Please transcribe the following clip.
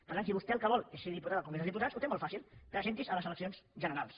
per tant si vostè el que vol és ser diputat al congrés dels diputats ho té molt fàcil presenti’s a les eleccions generals